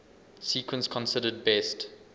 sequence considered best